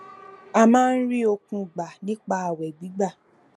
ó máa ń rí okun gbà nípa ààwè gbígbà